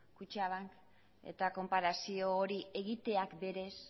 kutxabank eta konparazio hori egiteak berez